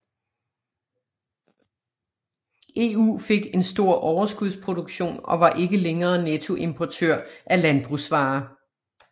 EU fik en stor overskudsproduktion og var ikke længere nettoimportør af landbrugsvarer